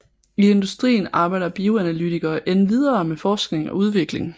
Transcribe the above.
I industrien arbejder bioanalytikere endvidere med forskning og udvikling